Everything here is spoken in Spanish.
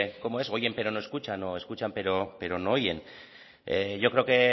que cómo es oyen pero no escuchan o escuchan pero no oyen yo creo que